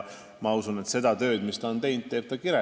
Ma usun, et oma tööd on ta teinud ja teeb kirega.